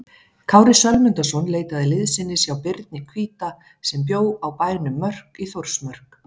Kári Sölmundarson leitaði liðsinnis hjá Birni hvíta sem bjó á bænum Mörk í Þórsmörk.